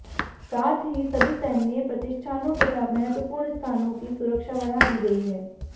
साथ ही सभी सैन्य प्रतिष्ठानों तथा महत्वपूर्ण स्थानों की सुरक्षा बढ़ा दी गई है